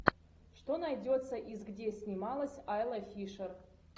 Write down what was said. что найдется из где снималась айла фишер